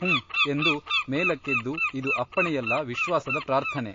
ಹುಂ ಎಂದು ಮೇಲಕ್ಕೆದ್ದು ಇದು ಅಪ್ಪಣೆಯಲ್ಲ ವಿಶ್ವಾಸದ ಪ್ರಾರ್ಥನೆ.